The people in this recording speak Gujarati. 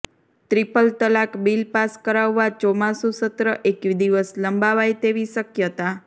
ત્રિપલ તલાક બિલ પાસ કરાવવા ચોમાસુ સત્ર એક દિવસ લંબાવાય તેવી શકયતા